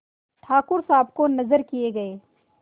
ठाकुर साहब को नजर किये गये